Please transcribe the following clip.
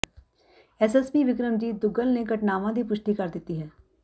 SSP Vikramjit Duggal ਨੇ ਘਟਨਾਵਾਂ ਦੀ ਪੁਸ਼ਟੀ ਕਰ ਦਿੱਤੀ ਹੈ